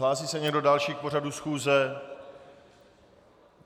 Hlásí se někdo další k pořadu schůze?